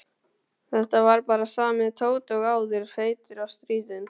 Þetta var bara sami Tóti og áður, feitur og stríðinn.